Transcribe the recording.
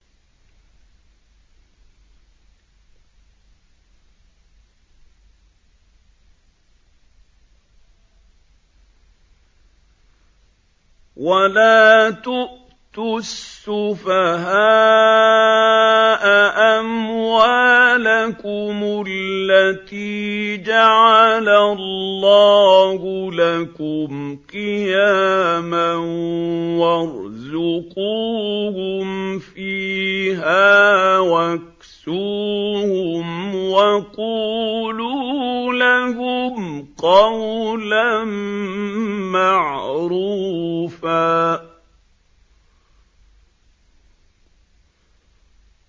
وَلَا تُؤْتُوا السُّفَهَاءَ أَمْوَالَكُمُ الَّتِي جَعَلَ اللَّهُ لَكُمْ قِيَامًا وَارْزُقُوهُمْ فِيهَا وَاكْسُوهُمْ وَقُولُوا لَهُمْ قَوْلًا مَّعْرُوفًا